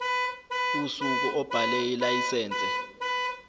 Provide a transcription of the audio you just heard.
usuku obhale ilayisense